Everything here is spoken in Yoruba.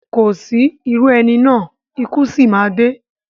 Kò sí irú ẹni náà, ikú sì má a dé